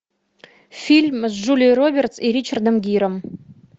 фильм с джулией робертс и ричардом гиром